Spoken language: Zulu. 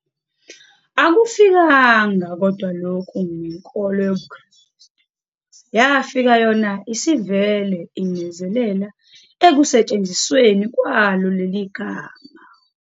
Akufikanga kodwa lokho nenkolo yobuKrestu, yafika yona isivele inezelela ekusetshenzisweni kwalo leli gama.